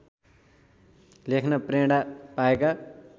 लेख्न प्रेरणा पाएका